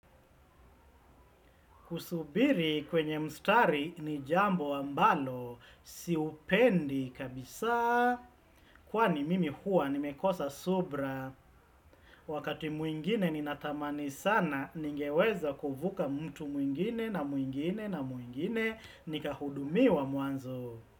Kusubiri kwenye mstari ni jambo ambalo, siupendi kabisa, kwani mimi hua nimekosa subira. Wakati mwingine ni natamani sana, ningeweza kuvuka mtu mwingine na mwingine na mwingine, nika hudumi wa mwanzo.